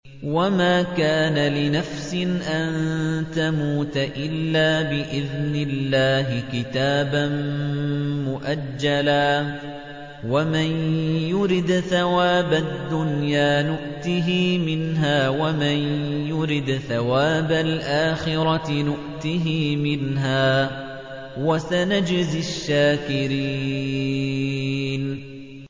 وَمَا كَانَ لِنَفْسٍ أَن تَمُوتَ إِلَّا بِإِذْنِ اللَّهِ كِتَابًا مُّؤَجَّلًا ۗ وَمَن يُرِدْ ثَوَابَ الدُّنْيَا نُؤْتِهِ مِنْهَا وَمَن يُرِدْ ثَوَابَ الْآخِرَةِ نُؤْتِهِ مِنْهَا ۚ وَسَنَجْزِي الشَّاكِرِينَ